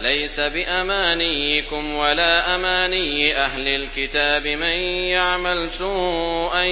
لَّيْسَ بِأَمَانِيِّكُمْ وَلَا أَمَانِيِّ أَهْلِ الْكِتَابِ ۗ مَن يَعْمَلْ سُوءًا